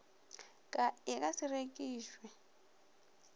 ka e ka se rekišwe